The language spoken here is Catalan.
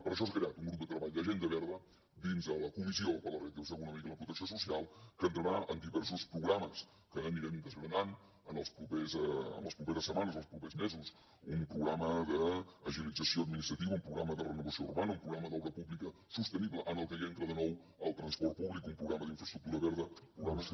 per això s’ha creat un grup de treball d’agenda verda dins la comissió per a la reactivació econòmica i la protecció social que entrarà en diversos programes que anirem desgranant en les properes setmanes i els propers mesos un programa de l’agilització administrativa un programa de renovació urbana un programa d’obra pública sostenible en el que entra de nou el transport públic un programa d’infraestructura verda programes que